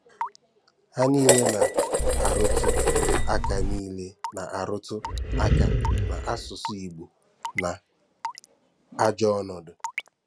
Há niile na-arùtù aka niile na-arùtù aka na asụ̀sụ́ Ìgbò nọ n’ajọ̀ ọ̀nọ̀dụ̀.